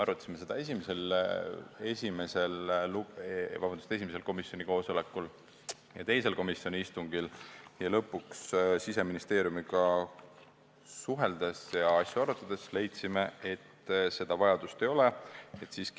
Arutasime seda esimesel ja teisel komisjoni istungil ja lõpuks leidsime Siseministeeriumiga suheldes, et seda vajadust ei ole.